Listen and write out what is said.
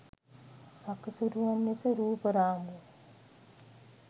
සකසුරුවම් ලෙස රූප රාමු